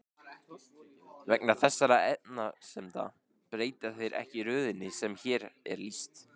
Vegna þessara efasemda breyta þeir ekki röðinni sem hér er lýst.